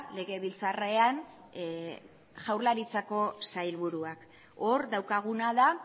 legebiltzarrean jaurlaritzako sailburuak hor daukaguna da